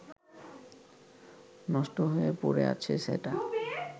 নষ্ট হয়ে পড়ে আছে সেটা